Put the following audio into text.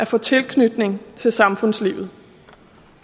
få tilknytning til samfundslivet